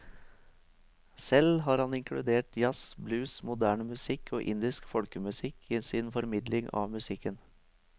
Selv har han inkludert jazz, blues, moderne musikk og indisk folkemusikk i sin formidling av musikken.